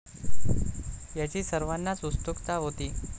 याची सर्वांनाच उत्सुकता होती.